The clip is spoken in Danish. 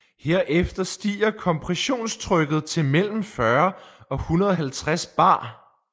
Herefter stiger kompressionstrykket til mellem 40 og 150 bar